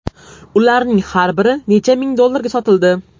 Ularning har biri bir necha ming dollarga sotildi.